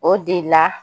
O de la